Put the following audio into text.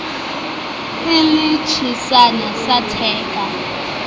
e le tshesane sa theka